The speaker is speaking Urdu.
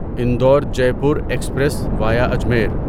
Indore Jaipur express via Ajmer